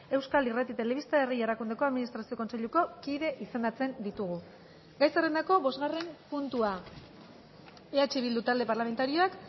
euskal irrati telebista herri erakundeko administrazio kontseiluko kide izendatzen ditugu gai zerrendako bosgarren puntua eh bildu talde parlamentarioak